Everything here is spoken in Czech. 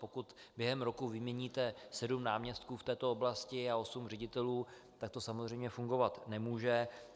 Pokud během roku vyměníte sedm náměstků v této oblasti a osm ředitelů, tak to samozřejmě fungovat nemůže.